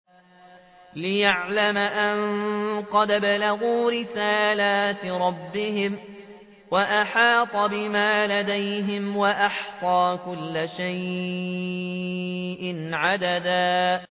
لِّيَعْلَمَ أَن قَدْ أَبْلَغُوا رِسَالَاتِ رَبِّهِمْ وَأَحَاطَ بِمَا لَدَيْهِمْ وَأَحْصَىٰ كُلَّ شَيْءٍ عَدَدًا